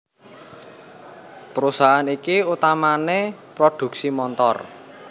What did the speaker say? Perusahaan iki utamané prodhuksi montor